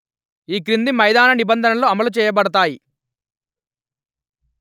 ఈ క్రింది మైదాన నిబంధనలు అమలు చేయబడతాయి